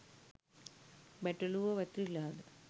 බැටළුවො වැතිරිලාද